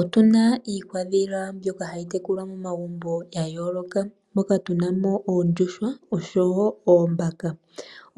Otuna iikwandhila mbyoka hayi tekulwa momagumbo ya yooloka. Moka tunamo oondjuhwa oshowo oombaka.